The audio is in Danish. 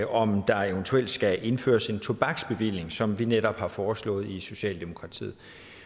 om der eventuelt skal indføres en tobaksbevilling som vi netop har foreslået i socialdemokratiet